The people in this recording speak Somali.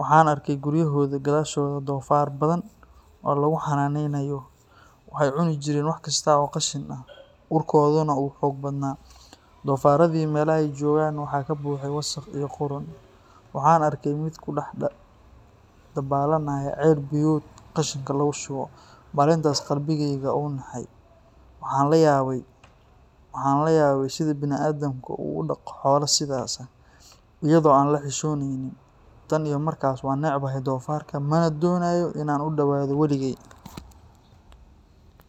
Waxaan arkay guryahooda gadaashooda doofaarro badan oo lagu xannaaneynayo. Waxay cuni jireen wax kasta oo qashin ah, urkooduna wuu xoog badnaa. Doofaarradii meelaha ay joogaan waxaa ka buuxay wasakh iyo qudhun. Waxaan arkay mid ku dhex dabaalanaya ceel biyood qashinka lagu shubo. Maalintaas qalbigayga wuu nixay. Waxaan la yaabay sida bani’aadamku u dhaqdo xoolo sidaas ah, iyadoo aan la xishoonayn. Tan iyo markaas, waan necbaaday doofaarka, mana doonayo in aan u dhawaado waligey